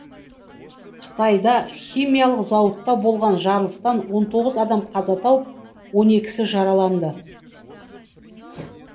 қытайда химиялық зауытта болған жарылыстан он тоғыз адам қаза тауып он екісі жараланды